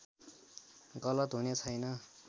गलत हुने छैन